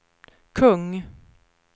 kung